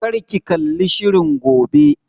Kar ki kalli shirin gobe!